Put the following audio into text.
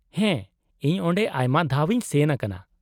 -ᱦᱮᱸ, ᱤᱧ ᱚᱸᱰᱮ ᱟᱭᱢᱟ ᱫᱷᱟᱣ ᱤᱧ ᱥᱮᱱ ᱟᱠᱟᱱᱟ ᱾